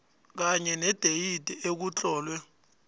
kunye nedeyidi ekutlolwe